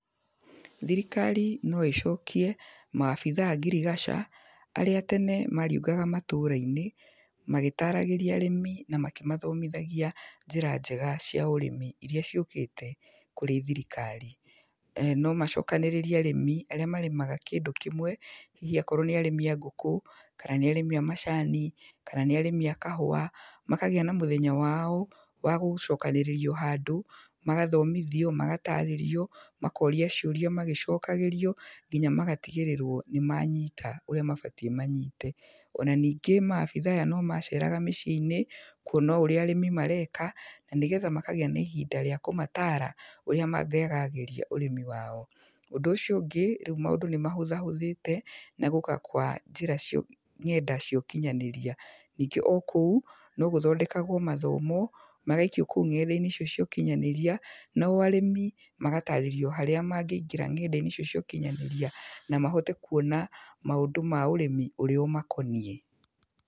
Thikari no ĩcokie maabithaa a ngirigaca, arĩa tene mariũngaga matũũra-inĩ magĩtaragĩria arĩmi na makĩmathomithagia njĩra njega cia ũrĩmi iria ciũkĩte kũrĩ thirikari. No macokanĩrĩrie arĩmi arĩa marĩmaga kĩndũ kĩmwe, hihi akorwo nĩ arĩmi a ngũkũ, kana nĩ arĩmi a macani, kana nĩ arĩmi a kahũa, makagĩa na mũthenya wao wa gũcokanĩrĩrio handũ, magathomithio, magatarĩrio, makoria ciũria magĩcokagĩrio, nginya magatigĩrĩrwo nĩ manyita ũrĩa mabatiĩ manyite. Ona ningĩ maabithaa aya nomaceeraga mĩcii-inĩ kwona ũrĩa arĩmi mareka, na nĩgetha makagĩa na ihinda rĩa kũmataara ũrĩa mangĩagagĩria ũrĩmi wao. Ũndũ ũcio ũngĩ, rĩu maũndũ nĩ mahũthahũthĩte na gũũka kwa njĩra cia ũkinyanĩria, ng'enda cia ũkinyanĩria. Ningĩ o kũu no gũthondekagwo mathomo magaikio kũu ng'enda-inĩ icio ciokinyanĩria, nao arĩmi magatarĩrio harĩa mangĩingĩra ng'enda-inĩ icio ciokinyanĩria, na mahote kwona maũndũ ma ũrĩmi ũrĩa ũmakoniĩ.